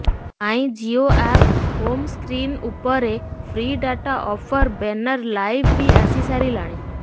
ମାଇଁ Jio app home screen ଉପରେ free data offer banner live ବି ଆସି ସାରିଲାଣି